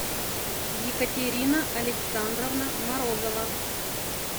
екатерина александровна морозова